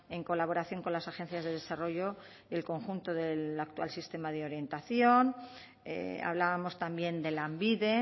en colaboración con las agencias de desarrollo y el conjunto del actual sistema de orientación hablábamos también de lanbide